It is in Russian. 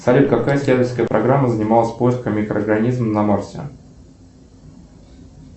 салют какая исследовательская программа занималась поисками микроорганизмов на марсе